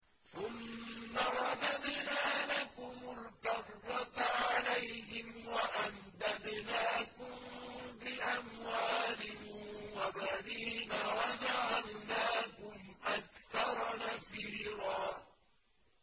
ثُمَّ رَدَدْنَا لَكُمُ الْكَرَّةَ عَلَيْهِمْ وَأَمْدَدْنَاكُم بِأَمْوَالٍ وَبَنِينَ وَجَعَلْنَاكُمْ أَكْثَرَ نَفِيرًا